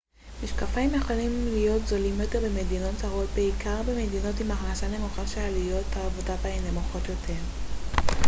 משקפיים יכולים להיות זולים יותר במדינות זרות בעיקר במדינות עם הכנסה נמוכה ששעלויות העבודה בהן נמוכות יותר.ץ